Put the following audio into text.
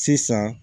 Sisan